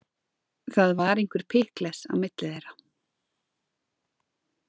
Það var einhver pikkles á milli þeirra.